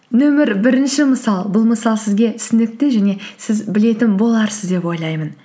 нөмір бірінші мысал бұл мысал сізге түсінікті және сіз білетін боларсыз деп ойлаймын